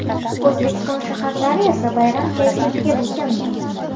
O‘zbekiston shaharlari esa bayram kayfiyatiga burkanmoqda.